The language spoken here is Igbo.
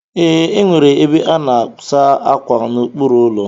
Ee, enwere ebe a na-asa ákwà n'okpuru ụlọ.